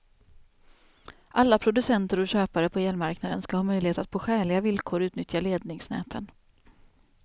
Alla producenter och köpare på elmarknaden ska ha möjlighet att på skäliga villkor utnyttja ledningsnäten.